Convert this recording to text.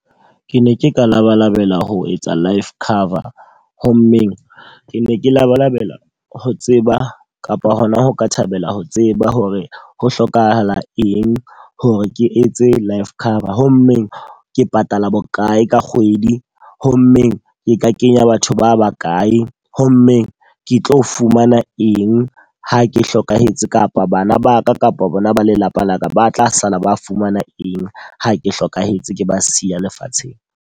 Ke ne ke ka labalabela ho etsa life cover. Ho mmeng ke ne ke labalabela ho tseba kapa hona ho ka thabela ho tseba hore ho hlokahala eng hore ke etse life cover? Ho mmeng ke patala bokae ka kgwedi? Ho mmeng ke ka kenya batho ba bakae? Ho mmeng ke tlo fumana eng ha ke hlokahetse kapa bana ba ka kapa bona ba lelapa laka ba tla sala ba fumana eng ha ke hlokahetse ke ba siya lefatsheng?